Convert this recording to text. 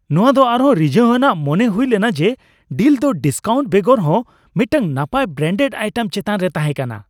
ᱱᱚᱶᱟ ᱫᱚ ᱟᱨᱦᱚᱸ ᱨᱤᱡᱷᱟᱹᱣ ᱟᱱᱟᱜ ᱢᱚᱱᱮ ᱦᱩᱭ ᱞᱮᱱᱟ ᱡᱮ ᱰᱤᱞ ᱫᱚ ᱰᱤᱥᱠᱟᱣᱩᱱᱴ ᱵᱮᱜᱚᱨ ᱦᱚᱸ ᱢᱤᱫᱴᱟᱝ ᱱᱟᱯᱟᱭ, ᱵᱨᱮᱱᱰᱮᱰ ᱟᱭᱴᱮᱢ ᱪᱮᱛᱟᱱ ᱨᱮ ᱛᱟᱦᱮᱸ ᱠᱟᱱᱟ ᱾